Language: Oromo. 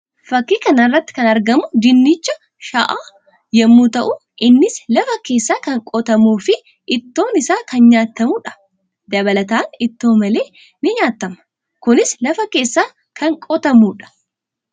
Fakkii kana irratti kan argamu dinnicha sha'aa yammuu ta'u; innis lafa keessaa kan qotamuu fi ittoon isaa kan nyaatamuu dha. Dabalataan ittoo maleea ni nyaatama. Kunis lafa keessaa kan qotamuu dha.